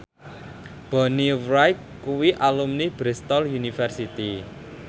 Bonnie Wright kuwi alumni Bristol university